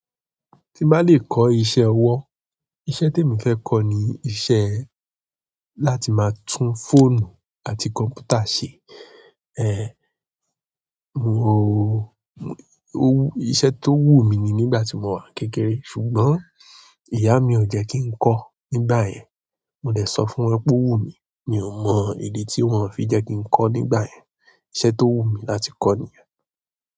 Tí ń bá lè kọ́ iṣẹ́ ọwọ́, iṣẹ́ tí emi fẹ́ kọ́ ni iṣẹ́ láti máa tún fóònù àti kọ̀m̀pútà ṣe. Èèè, mo o-- owú-- iṣẹ́ tó wù mí ni nígbà tí mo wà kékeré ṣùgbọ́n ìyá mi ò jẹ́ kí n kọ́ nígbà yẹn. Mò dẹ̀ sọ fún ọ pé ó wù mí, mi ò mọ ìdí tí wọ́n ò fi jẹ́ kí n kọ́ nígbà yẹn. Iṣẹ́ tó wù mí láti kọ́ nìyẹn.